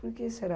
Por que será?